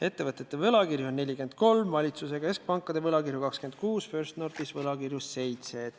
Ettevõtete võlakirju on 43, valitsuse ja keskpankade võlakirju 26, First Northis on võlakirju 7.